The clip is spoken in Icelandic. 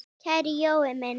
Kæri Jói minn!